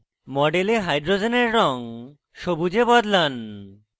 model hydrogens রঙ সবুজ এ বদলান